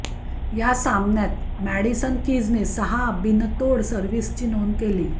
या सामन्यात मॅडिसन किजने सहा बिनतोड सर्व्हिसची नोंद केली